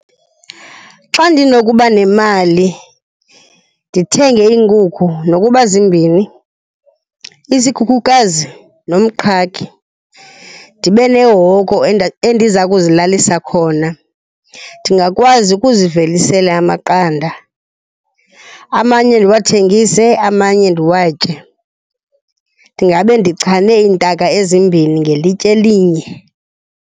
Xa ndinokuba nemali ndithenge iinkukhu nokuba zimbini, isikhukhukazi nomqhagi, ndibe nehoko endiza kuzilalisa khona, ndingakwazi ukuzivelisela amaqanda. Amanye ndiwathengise, amanye ndiwatye. Ndingabe ndichane iintaka ezimbini ngelitye elinye.